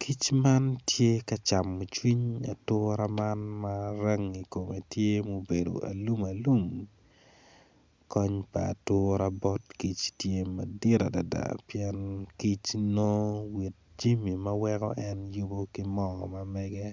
Kic man tye ka camo cwiny atura man ma rangi kome tye mubedo alumalum kony pa atura bot kic tye madit adada pien kic nongo jamia ma weko en yubo ki moo ma mege